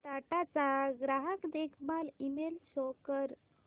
टाटा चा ग्राहक देखभाल ईमेल शो कर